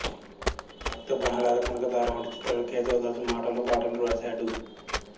భక్త ప్రహ్లాద కనకతార వంటి చిత్రాలకు కేశవదాసు మాటలు పాటలు వ్రాశాడు